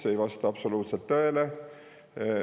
See aga ei vasta üldse tõele.